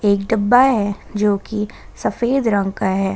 एक डब्बा है जो कि सफेद रंग का है।